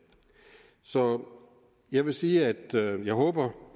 så jeg vil sige at jeg håber